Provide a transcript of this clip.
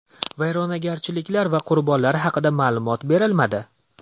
Vayronagarchiliklar va qurbonlar haqida ma’lumot berilmadi.